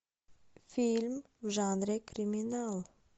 фильм в жанре криминал